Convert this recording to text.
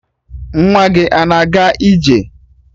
Nwa gị a na-aga ije?